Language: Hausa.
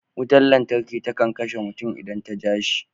Wutan lantarki takan kashe mutum idan ta ja shi.